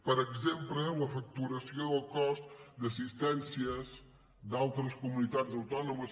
per exemple la facturació del cost d’assistències d’altres comunitats autònomes